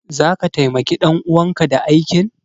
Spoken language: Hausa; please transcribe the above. Zaka taimaki ɗan uwanka da aikin?